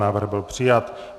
Návrh byl přijat.